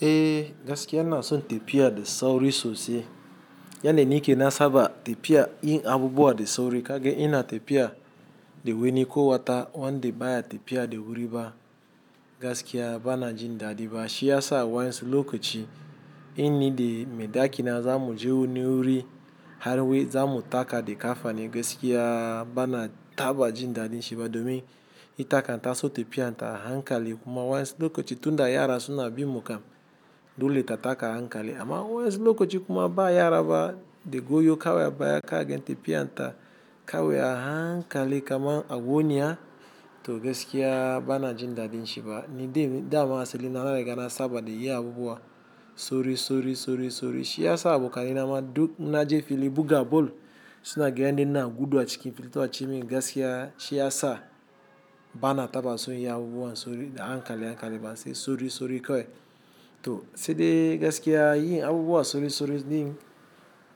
Eh gaskiya ana so tefiya da sauri sosai. Yanda nike na saba tefiya yin abubuwa da sauri kage ina tefiya da wani ko wata wanda baya tefiya da wuri ba. Gaskiya bana jin dadi ba. Shi yasa wasu lokaci in ni da maiɗaki na zamu je wani wuri har wai zamu taka da kafani gaskiya bana taɓa jin daɗin shi ba domin ita kan ta so tefiya ta hankali kuma wasu lokaci tunda yara suna bin mu kam dole ta taka hankali amma wasu lokaci kuma ba yara ba, da goyo kawai a baya kage in tefiya ta kawai a hankali kaman ago niya to gaskiya bana jin daɗin shi ba. Ni dai dama asali na na riga na saba da yi abubuwa sorisori, sorisori. Shi yasa abu kalina ma duk na je fili buga bol suna gidan ina gudu a cikin fili ta wuce min gaskiya shi yasa bana taɓa so inyi abubuwan sori-- da hankali hankali ba sai sori-sori kawai. To sai dai gaskiya yin abubuwa sorisori din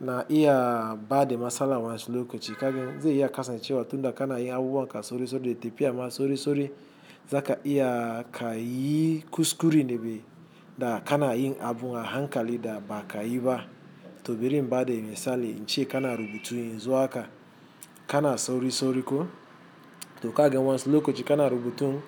na iya ba de matsalan wassu lokaci ka gan zai iya kasancewa tunda kana yin abubuwan ka sorisori da tefiya ma sorisori, zaka iya ka yi kuskuren de be da kana yin abun a hankali da ba ka yi ba. To birin ba de misali, in ce kana rubutu yenzu haka kana sorisori ko to kaga wansu lokaci kana rubutun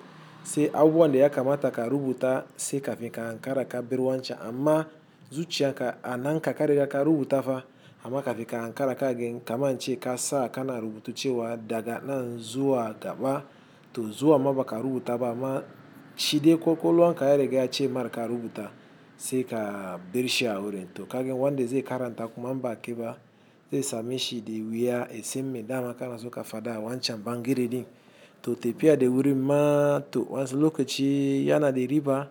sai abubuwan da ya kamata ka rubuta sai kafin ka hankara ka ber wancan amma zuciyanka anan ka ka riga ka rubuta fa amma kafin ka hankara kagen kaman in ce ka sa kana rubutu cewa daga nan zuwa gaba to zuwan ma baka rubuta ba amma shi dai kwakwalwa ka ya riga ya ce mar ka rubuta sai ka ber shi a wurin to kagen wanda zai karanta kuma in ba a ke ba zai same shi de wuya ye sen me dama kana so ka fada a wancan bangere din to tefiya da wurin ma to wasu lokaci yana da riba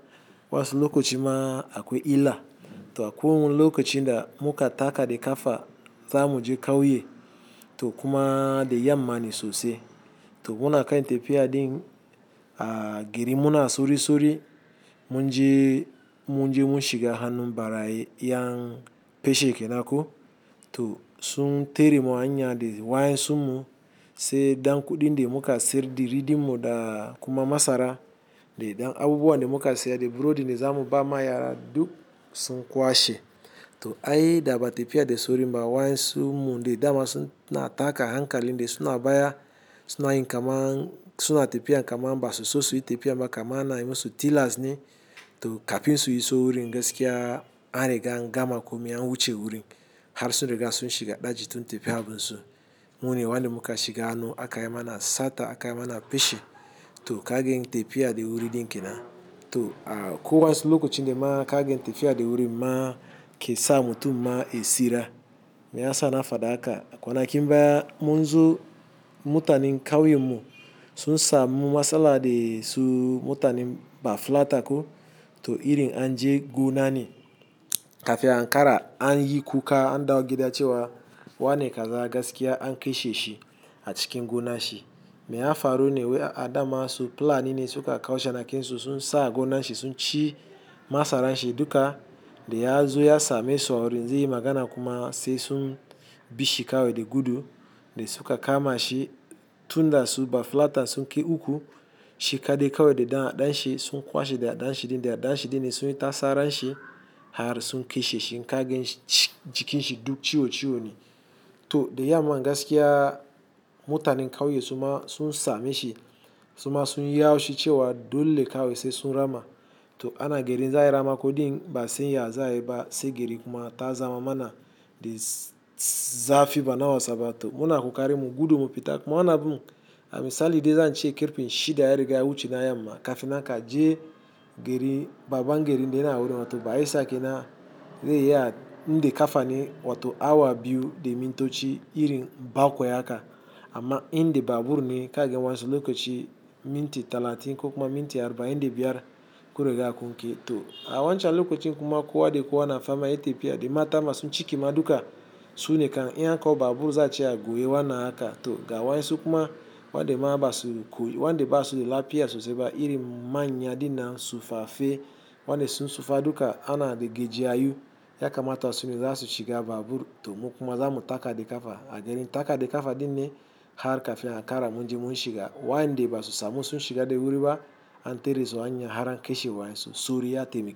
wasu lokaci ma akwai illa. To akwai wani lokacin da muka taka de kafa zamu je kauye to kuma da yammane sosai. To muna kan tefiya din a gerin muna sorisori mun je mun shiga hannun baraye yan peshe kenan ko to sun tere mu a hanya de wayensun mu sai ɗan kuɗin de muka sayar de ridi mu da kuma masara de dan abubuwan de muka saya de burodin da zamu ba ma yara duk sun kwashe. To ai da ba tefiya da sorin ba wayensunmun de dama sunna taka a hankalin de suna baya suna yin kaman suna tefiya kaman basu so su yi tefiyan ba kaman ana yi musu tilas ne to kafin su iso wurin gaskiya an riga an gama kome an wuce wurin har sun riga sun shiga ɗaji sun tefi abunsu. Mu ne wande muka shiga hannu aka yi mana sata aka yi mana peshe to kagen tefiya de wuri din kenan. To akwai wasu lokaci de ma kagen tefiya da wurin ma ke sa mutum ma ye tsira. Me ya sa na faɗa haka? Kwanakin baya mun zo mutanen kauyen mu sun samu matsala de su mutanen bafulata ko to irin an je gona ne kafin a hankara anyi kuka an dawo gida cewa wani kaza gaskiya an keshe shi a cikin gonan shi. Me ya faru ne wai a'a daman su plani ne suka kawo shanakinsu sun sa a gonan shi sun ci masaran shi duka da ya zo ya same su a wurin zai yi magana kuma sai sun bi shi kawai de gudu de suka kama shi tunda su bafulata sun kai uku shi kaɗai kawai de ɗan adanshi sun kwashe da aɗanshi de aɗanshi din ne sun yi tasaran shi har sun keshe shi in ka ganshi jikin shi duk ciwo ciwo ne. To da yaman gaskiya mutanin kauye suma sun same shi suma sun yi haushe cewa dole kawai sai sun rama to ana gerin za ayi ramako din ba'a san ya za ayi ba sai geri kuma ta zama mana de s-- zafi ba na wasaba to muna kokarinmu gudu mu fita kuma wanan abun a misali dai zan ce karpe s-- shi da ya riga ya wuce na yamma kafin nan ka je geri baban gerin da yana wurin wato Bayelsa kenan zai iya inde kafane wato awa biyu de mintoci irin baƙwai haka amma in de babur ne kage wansu lokaci minti talatin ko kuma minti arba'in de biyar kunriga kun ke. To a wancan lokacin kuma kowa de kowa na fama yayi tefiya de mata masun ciki ma duka su ne kan in kawo babur za a ce a goye wannan haka to ga wasu kuma wande ma ba su koy-- wande ba su de lafiya sosai ba irin manya din nan su fafe wanda sun sufa duka ana de gejiyayu ya kamata su ne za su shiga babur to mu kuma zamu taka de kafa a gerin taka de kafa din ne har kafin a hankara mun je mun shiga wande basu samu sun shiga de wuri ba an tere su a hanya har an keshe waɗansu sori ya taimaki.